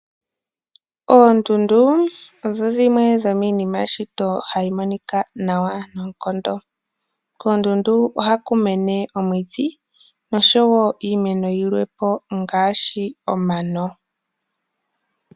Oondundu odho dhimwe dhomiinima yeshito hayi monika nawa noonkondo. Kondundu ohaku mene omwiidhi noshowo iimeno yilwe po ngaashi omano.